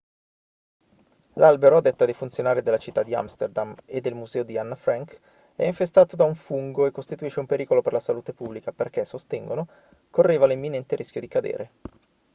l'albero a detta dei funzionari della città di amsterdam e del museo di anna frank è infestato da un fungo e costituisce un pericolo per la salute pubblica perché sostengono correva l'imminente rischio di cadere